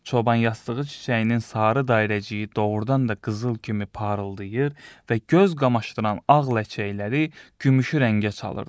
Çoban yastığı çiçəyinin sarı dairəciyi doğurdan da qızıl kimi parıldayır və göz qamaşdıran ağ ləçəkləri gümüşü rəngə çalırdı.